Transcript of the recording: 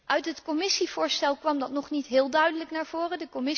Uit het Commissievoorstel kwam dat nog niet heel duidelijk naar voren.